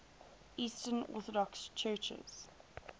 eastern orthodox churches